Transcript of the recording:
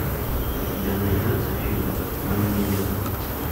у тебя найдется фильм мы миллеры